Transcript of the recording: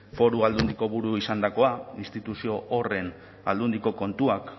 foru aldundiko buru izandakoa instituzio horren aldundiko kontuak